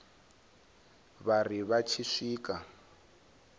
vha ri vha tshi swika